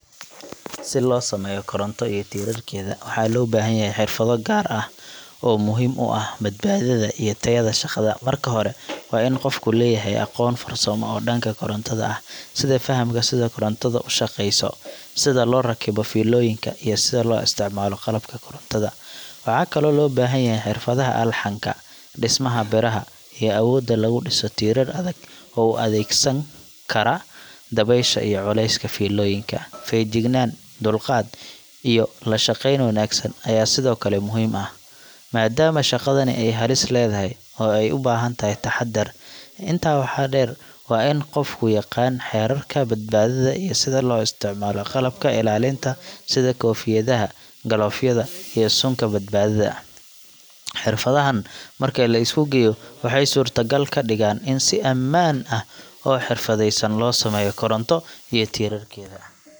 Si loo sameeyo koronto iyo tiirarkeeda, waxaa loo baahan yahay xirfado gaar ah oo muhiim u ah badbaadada iyo tayada shaqada. Marka hore, waa in qofku leeyahay aqoon farsamo oo dhanka korontada ah – sida fahamka sida korontadu u shaqeyso, sida loo rakibo fiilooyinka, iyo sida loo isticmaalo qalabka korontada. Waxaa kaloo loo baahan yahay xirfadaha alxanka, dhismaha biraha, iyo awoodda lagu dhiso tiirar adag oo u adkeysan kara dabaysha iyo culeyska fiilooyinka. Feegjignaan, dulqaad, iyo la shaqeyn wanaagsan ayaa sidoo kale muhiim ah, maadaama shaqadani ay halis leedahay oo ay u baahan tahay taxaddar. Intaa waxaa dheer, waa in qofku yaqaan xeerarka badbaadada iyo sida loo isticmaalo qalabka ilaalinta sida koofiyadaha, galoofyada, iyo suunka badbaadada. Xirfadahan marka la isku geeyo, waxay suurtagal ka dhigaan in si ammaan ah oo xirfadaysan loo sameeyo koronto iyo tiirarkeeda.